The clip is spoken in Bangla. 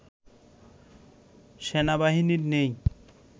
সেনাবাহিনীর নেই